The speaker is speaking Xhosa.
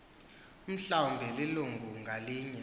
mhlawumbi ilungu ngalinye